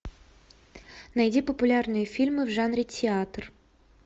найди популярные фильмы в жанре театр